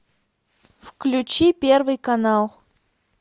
включи первый канал